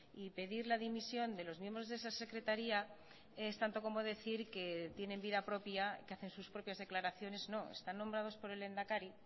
y pedir la dimisión de los miembros de esa secretaría es tanto como decir que tienen vida propia que hacen sus propias declaraciones no están nombrados por el lehendakari